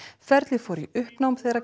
ferlið fór í uppnám þegar